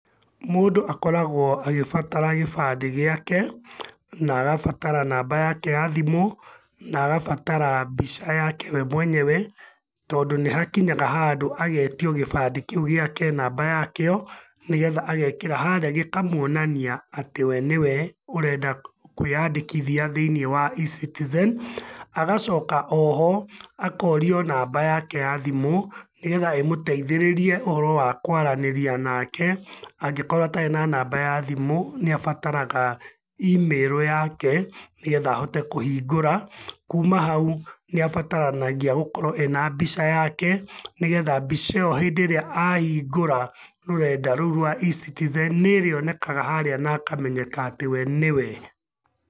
Mundũ akoragwo agĩbatara gĩbandĩ gĩake, na agabatara namba yake ya thimũ, na agabatara mbica yake we mwenyewe, tondũ nĩhakinyaga handũ agetio gĩbandĩ kĩu gĩake namba yakĩo, nĩgetha agekĩra harĩa gĩkamuonania atĩ we nĩwe ũrenda kwĩyandĩkithia thĩiniĩ wa eCitizen, agacoka oho akorio namba yake ya thimũ, nĩgetha ĩmũteithĩrĩrie ũhoro wa kũaranĩria nake, angĩkorwo atarĩ na namba ya thimũ, nĩabataraga imĩrũ yake, nĩgetha ahote kũhingũra. Kuma hau, nĩabataranagia gũkorwo ena mbica yake, nĩgetha mbica ĩyo hĩndĩ ĩrĩa ahingũra rũrenda rũu rwa eCitizen nĩrĩonekaga harĩa na akamenyeka atĩ we nĩwe.